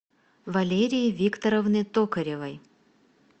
валерии викторовны токаревой